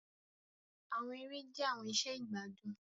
Àwọn èrè jẹ̀ àwọn ìṣẹ̀ igbadun.